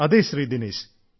അതേ ശ്രീ ദിനേശ്